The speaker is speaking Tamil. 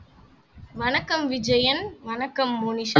வணக்கம் விஜயன் வணக்கம் மோனிஷா